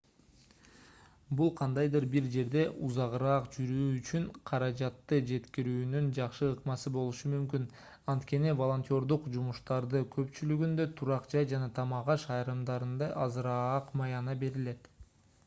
бул кандайдыр бир жерде узагыраак жүрүү үчүн каражатты жеткирүүнүн жакшы ыкмасы болушу мүмкүн анткени волонтёрдук жумуштардын көпчүлүгүндө турак жай жана тамак-аш айрымдарында азыраак маяна берилет